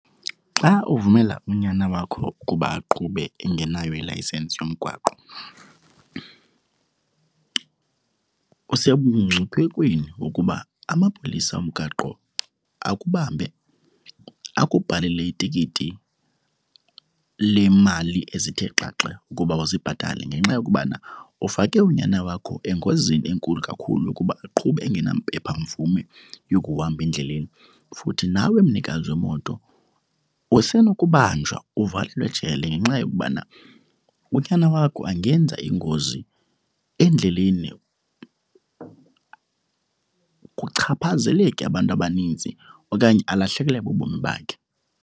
Xa uvumela unyana wakho ukuba aqhube engenayo ilayisensi yomgwaqo usebungciphekweni wokuba amapolisa omgaqo akubambe, akubhalele itikiti lemali ezithe xaxe ukuba uzibhatale ngenxa yokubana ufake unyana wakho engozini enkulu kakhulu ukuba aqhube engenampephamvume yokuhamba endleleni. Futhi nawe mnikazi wemoto usenokubanjwa, uvalelwe ejele ngenxa yokubana unyana wakho angenza ingozi endleleni kuchaphazeleke abantu abaninzi okanye alahlekelwe bubomi bakhe.